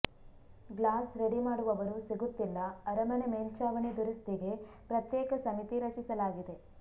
glass ready ಮಾಡುವವರು ಸಿಗುತ್ತಿಲ್ಲ ಅರಮನೆ ಮೆಲ್ಛಾವಣಿ ದುರಸ್ತಿಗೆ ಪ್ರತ್ಯೇಕ ಸಮಿತಿ ರಚಿಸಲಾಗಿದೆ